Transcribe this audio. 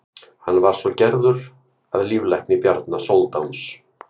hann var svo gerður að líflækni bjarna sóldáns